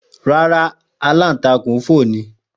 Ràrà, alantakun fo ni.